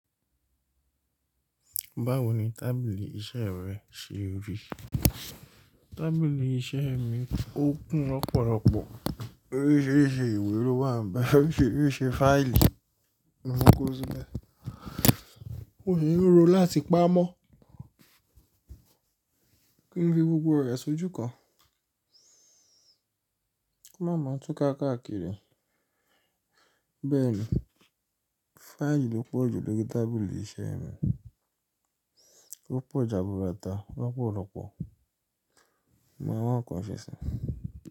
Báwo ni tábìlì iṣẹ́ rẹ ṣe rí? Tábìlì iṣẹ́ mi, ó kún ní ọ̀pọ̀lọpọ̀, orísìírísìí ìwé ló wà ń be orísìírísìí fáìlì. Mo ko sílẹ̀. Mò sì n ro láti pamọ́ kí n fi gbogbo rẹ̀ sójú kan. Máa ma tú káàkiri. Bẹ́ẹ̀ ni, fáìlì ló pọ̀ jù lórí tábìlì iṣẹ́ mi. Ó pọ̀ jaburata lọ́pọ̀lọpọ̀, Mo mà wá nkan ṣe si.